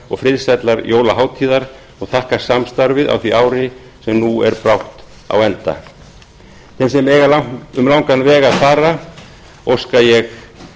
og friðsællar jólahátíðar og þakka samstarfið á því ári sem nú er brátt á enda þeim sem eiga um langan veg að fara heim óska ég